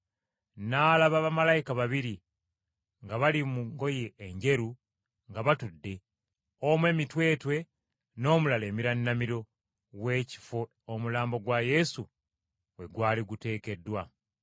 n’alaba bamalayika babiri, nga bali mu ngoye enjeru nga batudde; omu emitwetwe n’omulala emirannamiro w’ekifo omulambo gwa Yesu we gwali guteekeddwa.